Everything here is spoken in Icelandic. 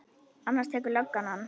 Annars tekur löggan hann.